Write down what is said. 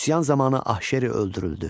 Üsyan zamanı Ahşeri öldürüldü.